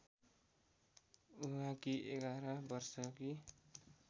उहाँकी ११ वर्षकी